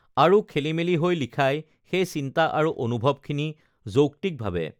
আৰু খেলিমেলি হৈ লিখাই সেই চিন্তা আৰু অনুভৱখিনি যৌক্তিকভাৱে